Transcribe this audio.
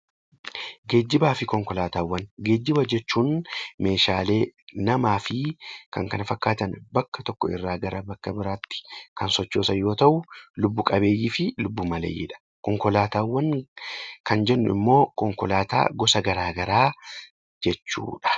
Geejjiba jechuun meeshaalee , namaa fi kan kana fakkaatan bakka tokkorraa gara bakka biraatti kan sochoosan yoo ta'u, lubbu qabeeyyii fi lubbu maleeyyiidha. Konkolaataawwan kan jennu immoo konkolaataa gosa garaagaraa jechuudha.